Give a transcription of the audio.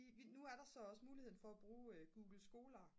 nu er der så også muligheden for at bruge google scholar